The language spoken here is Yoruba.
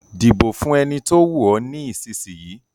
Dìbò fún ẹni tó wù ọ ní ìsìsìyí